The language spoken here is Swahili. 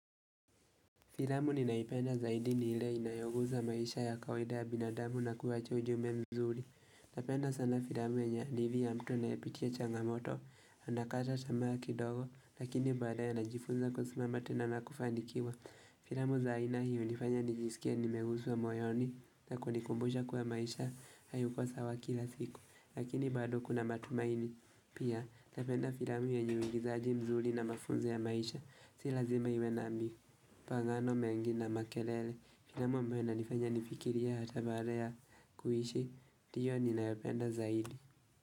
Filamu ninayoipenda zaidi ni ile inayoguza maisha ya kawida ya binadamu na kuwacha ujumbe mzuri. Napenda sana filamu yenye hadithi ya mtu anayepitia changamoto, anakata tamaa kidogo, lakini baadaye anajifunza kusimama tu na kufanikiwa. Filamu za aina hii hunifanya nijisikia nimeguzwa moyoni na kunikumbusha kuwa maisha haiko sawa kila siku. Lakini badu kuna matumaini. Pia napenda filamu yenye uigizaji mzuri na mafunzo ya maisha. Si lazima iwe nami Pagano mengi na makelele Filamu ambayo inanifanya nifikirie hata baada ya kuishi ndiyo ninayopenda zaidi.